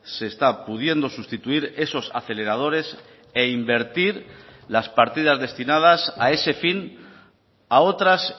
se está pudiendo sustituir esos aceleradores e invertir las partidas destinadas a ese fin a otras